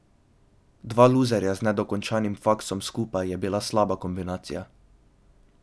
Dva luzerja z nedokončanim faksom skupaj je bila slaba kombinacija.